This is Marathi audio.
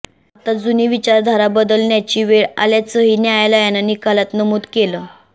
आता जुनी विचारधारा बदलण्याची वेळ आल्याचंही न्यायालयानं निकालात नमूद केलं